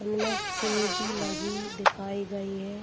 उनमें चिमीटी लगी दिखाई गई है।